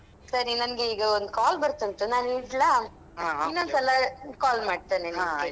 ಸರಿ ನಂಗೀಗ ಒಂದು call ಬರ್ತಾ ಉಂಟು ನಾನ್ ಇಡ್ಲಾ. ಇನ್ನೊಂದ್ಸಲ call ಮಾಡ್ತೇನೆ.